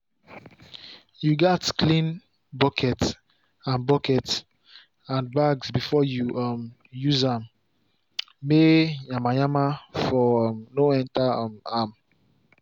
you gats clean buckets and buckets and bags before you um use am may yanmayanma for um no enter um am